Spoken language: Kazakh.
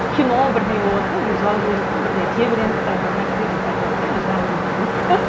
кино бірдеңе болыватса мен жылап жіберуім мүмкін бірдеңеге тебіреніп там бір нәрсе деп айтыватса менің жылағым келіп кетуі